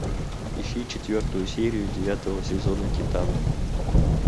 ищи четвертую серию девятого сезона титаны